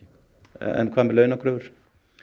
en hvað með launakröfur